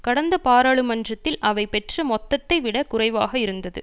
கடந்த பாராளுமன்றத்தில் அவை பெற்ற மொத்தத்தை விட குறைவாக இருந்தது